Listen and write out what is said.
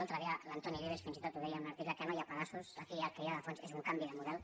l’altre dia l’antoni vives fins i tot ho deia en un article que no hi ha pedaços aquí el que hi ha de fons és un canvi de model